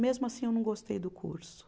Mesmo assim, eu não gostei do curso.